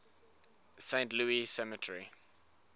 saint louis cemetery